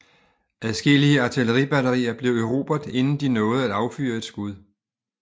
Adskillige artilleribatterier blev erobret inden de nåede at affyre et skud